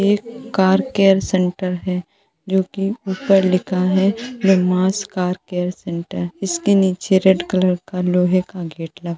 एक car care centre है जोकि उपर लिखा है ब्रह्माश कार केयर सेंटर इसके निचे रेड कलर का लोहे का गेट लगा --